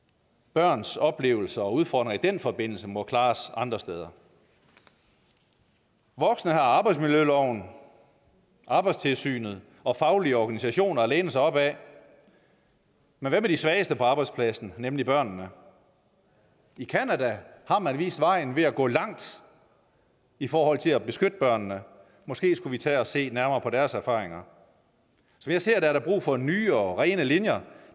børns oplevelser og udfordringer i den forbindelse må klares andre steder voksne har arbejdsmiljøloven arbejdstilsynet og faglige organisationer at læne sig op ad men hvad med de svageste på arbejdspladsen nemlig børnene i canada har man vist vejen ved at gå langt i forhold til at beskytte børnene måske skulle vi tage at se nærmere på deres erfaringer som jeg ser det er der brug for nye og rene linjer